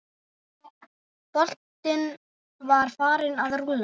Boltinn var farinn að rúlla.